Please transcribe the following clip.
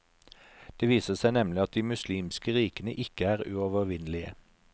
Det viser seg nemlig at de muslimske rikene ikke er uovervinnelige.